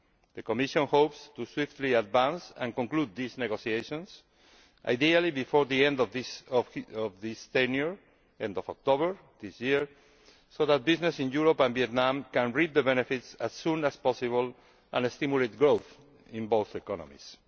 The Commission hopes to swiftly advance and conclude these negotiations, ideally before the end of this tenure by the end of October this year so that business in Europe and Vietnam can reap the benefits as soon as possible and stimulate growth in both economies.